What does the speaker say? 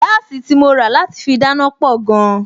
Gáàsì tí mo rà láti fi dáná pọ̀ gan-an